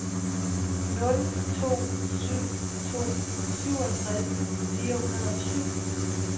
nul to syv to syvogtres fire hundrede og syv